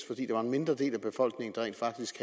fordi det var en mindre del af befolkningen der rent faktisk